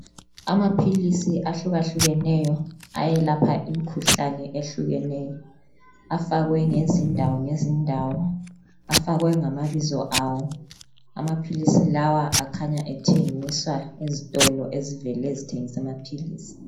Amaphilisi ahlukahlukeneyo ayelapha imkhuhlane ehlukeneyo, afakwe ngezindawo ngezindawo. Afakwe ngamabizo awo amaphilisi lawa akhanya ethengiswa ezitolo ezivele zithengisa amaphilisi.